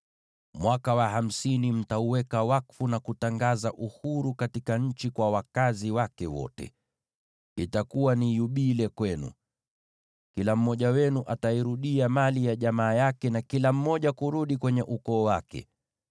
Mwaka wa hamsini mtauweka wakfu na kutangaza uhuru katika nchi kwa wakazi wake wote. Itakuwa ni yubile kwenu; kila mmoja wenu atairudia mali ya jamaa yake, na kila mmoja kurudi kwenye ukoo wake.